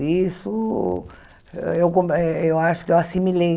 E isso eu acho que eu qua ah eu acho que eu assimilei.